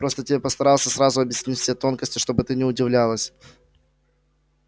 просто я тебе постарался сразу объяснить все тонкости чтобы ты не удивлялась